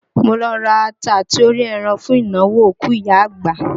Mo lọ ra ata àti orí ẹran fún ìnáwó òkú ìyá àgbà